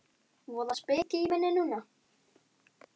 Voða speki í minni núna.